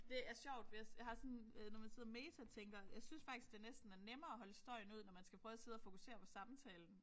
Det er sjovt hvis jeg har sådan når man sådan sidder og metatænker jeg synes faktisk det næsten er nemmere at holde støjen ud når man skal prøve at sidde og fokusere på samtalen